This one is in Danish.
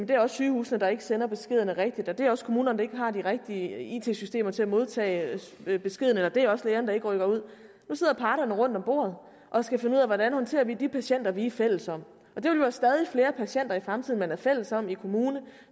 det er også sygehusene der ikke sender beskederne rigtigt og det er også kommunerne der ikke har de rigtige it systemer til at modtage beskeden eller det er også lægerne der ikke rykker ud nu sidder parterne rundt om bordet og skal finde ud af hvordan de håndterer de patienter de er fælles om og det vil være stadig flere patienter i fremtiden man er fælles om i kommune